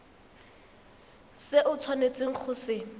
se o tshwanetseng go se